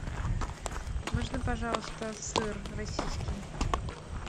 можно пожалуйста сыр российский